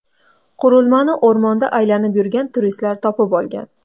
Qurilmani o‘rmonda aylanib yurgan turistlar topib olgan.